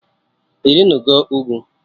Ị rịnụgo ugwu?